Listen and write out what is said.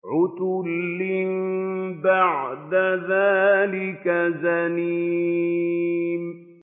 عُتُلٍّ بَعْدَ ذَٰلِكَ زَنِيمٍ